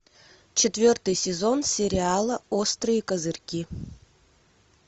четвертый сезон сериала острые козырьки